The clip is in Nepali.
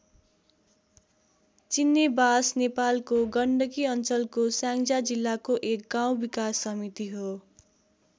चिन्नेबास नेपालको गण्डकी अञ्चलको स्याङ्जा जिल्लाको एक गाउँ विकास समिति हो।